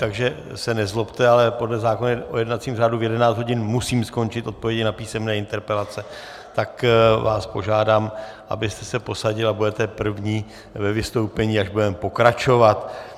Takže se nezlobte, ale podle zákona o jednacím řádu v 11 hodin musím skončit odpovědi na písemné interpelace, tak vás požádám, abyste se posadil, a budete první ve vystoupení, až budeme pokračovat.